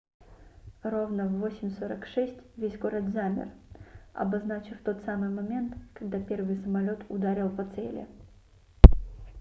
ровно в 08:46 весь город замер обозначив тот самый момент когда первый самолёт ударил по цели